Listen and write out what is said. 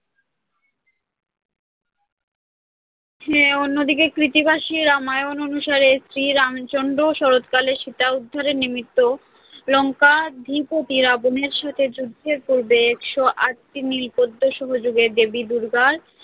হ্যাঁ অন্যদিকে কৃত্তিবাসী রামায়ণ অনুসারে শ্রী রামচন্দ্র শরৎকালে সীতা উদ্ধারের নিমিত্ত লঙ্কাধিপতি রাবণের সাথে যুদ্ধের পূর্বে একশো আট টি নীল পদ্ম সহযোগে দেবী দুর্গার